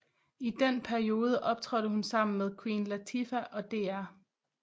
I den periode optrådte hun sammen med Queen Latifah og Dr